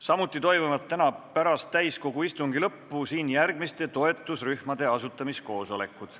Samuti toimuvad täna pärast täiskogu istungi lõppu siin järgmiste toetusrühmade asutamiskoosolekud.